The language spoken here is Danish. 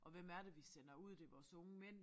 Og hvem er det vi sender ud det vores unge mænd